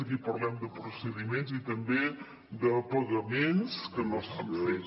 aquí parlem de procediments i també de pagaments que no s’han fet